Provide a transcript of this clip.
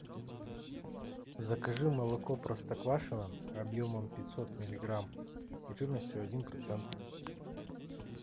закажи молоко простоквашино объемом пятьсот миллиграмм и жирностью один процент